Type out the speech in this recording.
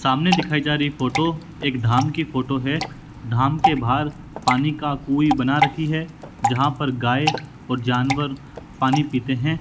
सामने दिखाई जा रही फोटो एक धाम की फोटो एक है धाम के बाहर पानी का कुएं बना रखी है जहां पर गया और जानवर पानी पीते हैं।